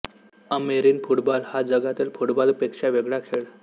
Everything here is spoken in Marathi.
अमेरिन फुटबॉल हा जगातील फुटबॉल पेक्षा वेगळा खेळ